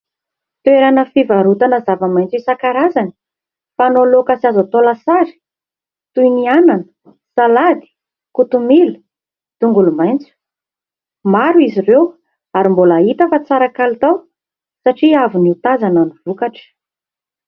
Toerana fivarotana zava maintso isan-karazany ; fanao laoka sy azo atao lasary toy ny anana, salady, kotomila, tongolo maintso. Maro izy ireo ary mbola hita fa tsara kalitao satria avy notazana ny vokatra.